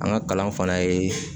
An ka kalan fana ye